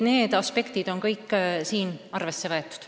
Need aspektid on kõik arvesse võetud.